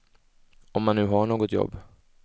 Om man nu har något jobb.